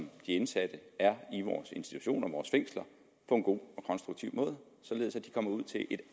de indsatte er i vores institutioner i vores fængsler på en god og konstruktiv måde således at de kommer ud til et